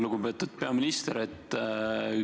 Lugupeetud peaminister!